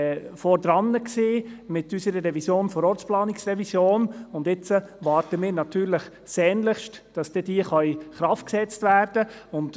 Wir hatten ja mit unserer Ortsplanungsrevision einen ziemlichen Vorsprung, und jetzt warten wir sehnlichst darauf, dass sie in Kraft gesetzt werden kann.